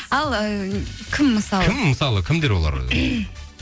ал ііі кім мысалы кім мысалы кімдер олар